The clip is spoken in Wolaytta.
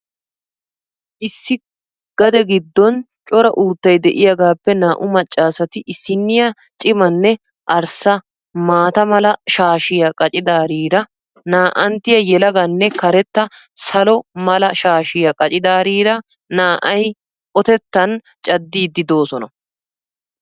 Issi gade giddon cora uuttay de'iyaagaappe naa'u maccaasati issiniya cimanne arssa maata mala shaashiyaa qaccidaariira na'anttiya yelaganne karetta salo mala shaashiya qaccidaariira naa'ay otettaan caddidi doosona.